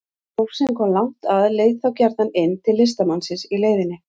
Fólk sem kom langt að leit þá gjarnan inn til listamannsins í leiðinni.